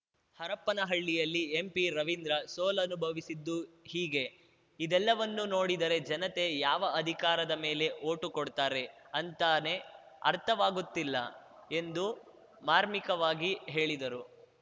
ಹರಪ್ಪನಹಳ್ಳಿಯಲ್ಲಿ ಎಂಪಿರವಿಂದ್ರ ಸೋಲನುಭವಿಸಿದ್ದು ಹೀಗೆ ಇದೆಲ್ಲವನ್ನೂ ನೋಡಿದರೆ ಜನತೆ ಯಾವ ಅಧಿಕಾರದ ಮೇಲೆ ಓಟು ಕೊಡ್ತಾರೆ ಅಂತಾನೇ ಅರ್ಥವಾಗುತ್ತಿಲ್ಲ ಎಂದು ಮಾರ್ಮಿಕವಾಗಿ ಹೇಳಿದರು